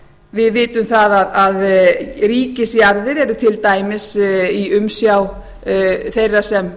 við vitum það að ríkisjarðir eru til dæmis í umsjá þeirra sem